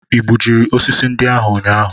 I gbujiri osisi ndị ahụ ụnyaahụ?